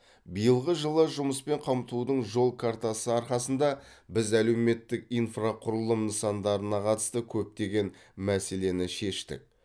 биылғы жылы жұмыспен қамтудың жол картасы арқасында біз әлеуметтік инфрақұрылым нысандарына қатысты көптеген мәселені шештік